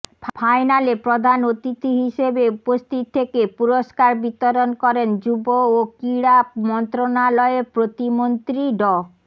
ফাইনালে প্রধান অতিথি হিসেবে উপস্থিত থেকে পুরস্কার বিতরণ করেন যুব ও ক্রীড়া মন্ত্রনালয়ের প্রতিমন্ত্রী ড